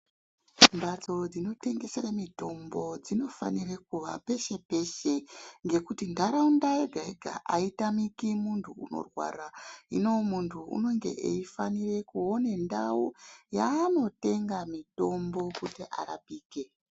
Mbatso dzinotendesere mitombo dzinofanira kuvapeshe-peshe. Ngekuti ntaraunda yega-yega haitamiki muntu unorwara. Hino muntu unenge eifanire kuone ndau yaanotenga mitombo kuti arapikwe.